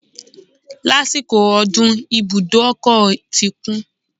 Lásìkò ọdún, ibùdó ọkọ̀ ti kún